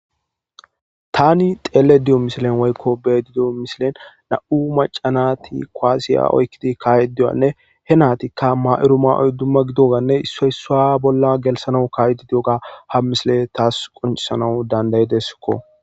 Tani xeelle diyo misilen woykko bedi diyo misilen na'u macanati koaasiya oykkidi kaaye diyanne he naatikka ma'uru ma'oy dumma gidoganne issoysa bolla gelsanau kayedi diyoga ha misile taas qoncisanawu dandayideskko.